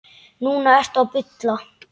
Núna ertu að bulla.